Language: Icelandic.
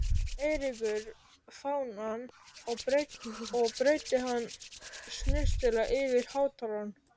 Eiríkur fánann og breiddi hann snyrtilega yfir hátalarann.